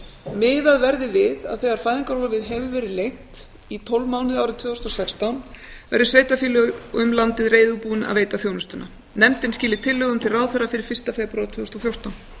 miðað verði við að þegar fæðingarorlofið hefur verið lengt í tólf mánuði árið tvö þúsund og sextán verði sveitarfélög um landið reiðubúin að veita þjónustuna nefndin skili tillögum til ráðherra fyrir fyrsta febrúar tvö þúsund og fjórtán